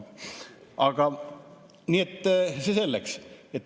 Aga see selleks.